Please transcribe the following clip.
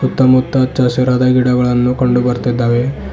ಸುತ್ತಮುತ್ತ ಹಚ್ಚ ಹಸಿರದ ಗಿಡಗಳನ್ನು ಕಂಡು ಬರ್ತೀದ್ದಾವೆ.